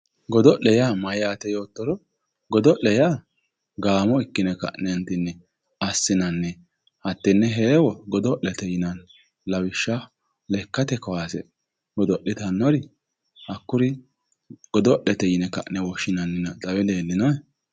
Godo'le yaa mayyaate yoottoro, godo'le yaa gaamo ikki'ne ka'neenti assinanni hattee heewo